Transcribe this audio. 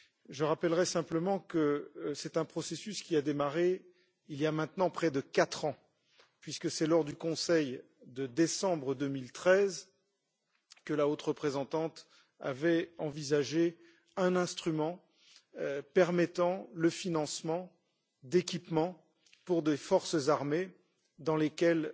Je rappellerai simplement que c'est un processus qui a démarré il y a maintenant près de quatre ans, puisque c'est lors du Conseil de décembre 2013 que la haute représentante avait envisagé un instrument permettant le financement d'équipements pour des forces armées auprès desquelles